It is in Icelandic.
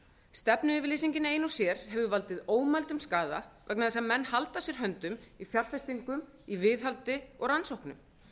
stefnuyfirlýsingin ein og sér hefur valdið ómældum skaða vegna þess að menn halda að sér höndum í fjárfestingum í viðhaldi og rannsóknum